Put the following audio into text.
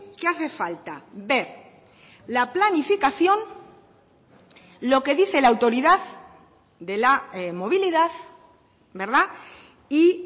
que hace falta ver la planificación lo que dice la autoridad de la movilidad y